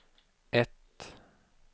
ett